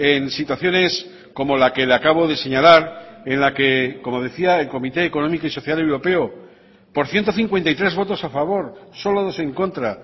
en situaciones como la que le acabo de señalar en la que como decía el comité económico y social europeo por ciento cincuenta y tres votos a favor solo dos en contra